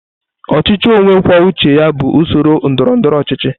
Ọchịchị onye kwuo uche ya bụ usoro ndọrọ ndọrọ ọchịchị.